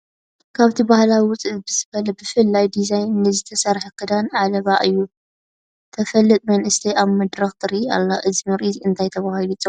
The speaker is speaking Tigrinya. ካብቲ ባህላዊ ውፅእ ብዝበለ ብፍሉይ ዲዛይን ንዝተሰርሐ ክዳን ዓለባ ዓዪ ተፋልጥ መንእሰይ ኣብ መድረኽ ትርአ ኣላ፡፡ እዚ ምርኢት እንታይ ተባሂሉ ይፅዋዕ?